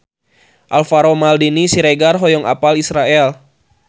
Alvaro Maldini Siregar hoyong apal Israel